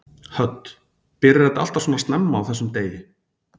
Hödd: Byrjar þetta alltaf svona snemma á þessum degi?